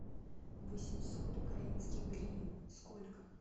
восемьсот украинских гривен сколько